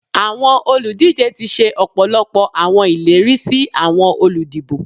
Awọn oludije ti ṣe ọpọlọpọ awọn ileri si awọn oludibo.